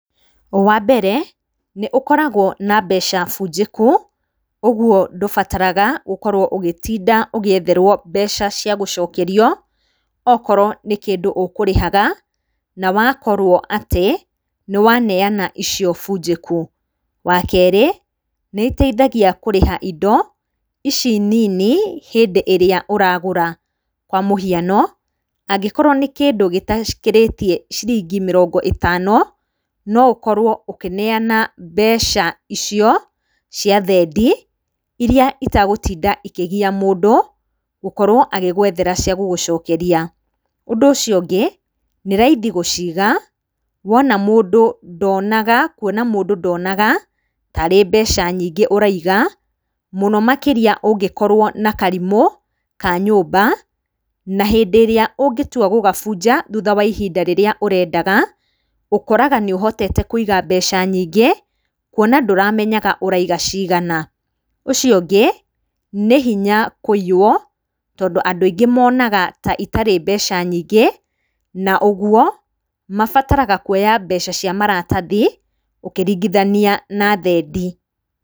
Wa mbere nĩ ũkoragwo na mbeca bunjĩku, kũguo ndũbataraga gũkorwo ugĩtinda ũgĩetherwo mbeca cia gũcokerio okorwo nĩ kĩndũ ũkũrĩhaga na wakorwo atĩ nĩ waneana icio bunjĩku. Wa kerĩ, nĩ ĩteithagia kũrĩha indo ici nini hĩndĩ ĩrĩa ũragũra kwa mũhiano, angĩkorwo nĩ kĩndũ gĩtakĩrĩtie ciringi mĩrongo ĩtano, no ũkorwo ũkĩneana mbeca icio cia thendi iria itagũtinda ikĩgia mũndũ gũkorwo agĩgũethera cia gũgũcokeria. Ũndũ ũcio ũngĩ, nĩ raithi gũciiga, kuona mũndũ ndonaga tarĩ mbeca nyingĩ ũraiga, mũno makĩria ũngĩkorwo na karimũ ka nyũmba, na hĩndĩ ĩrĩa ũngĩtua gũgabunja thutha wa ihinda rĩrĩa ũrendaga, ũkoraga nĩ ũhotete kũiga mbeca nyingĩ, kuona ndũramenyaga ũraiga cigana. Ũcio ũngĩ nĩ hinya kũiywo, tondũ andũ aingĩ monaga ta itarĩ mbeca nyingĩ na ũguo mabataraga kuoya mbeca cia maratathi ũkĩringithania na thendi.